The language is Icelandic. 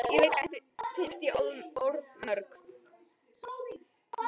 Ég veit að þér finnst ég orðmörg.